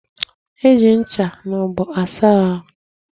E ji ncha na ogbo asa ahu.